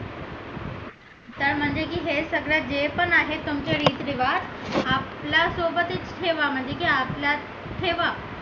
तर म्हणजे की हे सगळं जे पण आहेत तुमचे रीती रिवाज आपल्या सोबतच ठेवा म्हणजे की आपल्यात ठेवा